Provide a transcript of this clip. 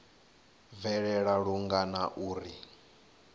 bvelela lungana na uri hu